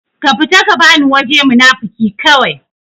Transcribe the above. ka fita ka bani waje munafuki kawai